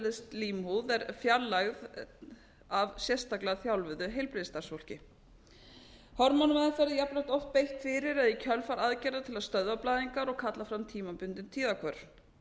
sem aðdslímhúð er fjarlægð af sérstaklega þjálfuðu heilbrigðisstarfsfólki hormónameðferð er jafnframt oft beitt fyrir eða í kjölfar aðgerða til að stöðva blæðingar og kalla fram tímabundin tíðahvörf